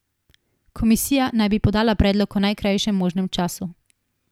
Komisija naj bi podala predlog v najkrajšem možnem času.